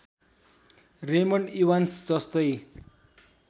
Raymond Evans जस्तै